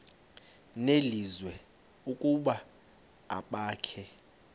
nelizwi ukuba abakhe